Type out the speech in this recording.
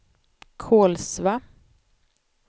Kolsva